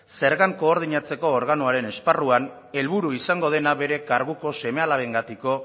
zergan koordinatzeko organoaren esparruan helburu izango dena bere karguko seme alabengatiko